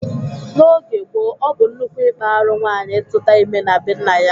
N'oge gboo, ọ bụ nnukwu ikpa arụ nwaanyi ituta ime na be nna ya.